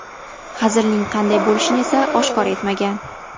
Hazilning qanday bo‘lishini esa oshkor etmagan.